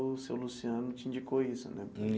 O seu Luciano te indicou isso né.